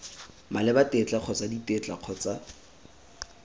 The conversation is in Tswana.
maleba tetla kgotsa ditetla kgotsa